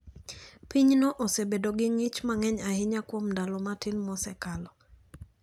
Pinyno osebedo gi ng`ich mang'eny ahinya kuom ndalo matin mosekalo.